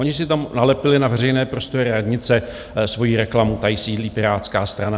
Oni si tam nalepili na veřejné prostory radnice svoji reklamu: tady sídlí Pirátská strana.